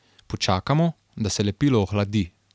Počakamo, da se lepilo ohladi.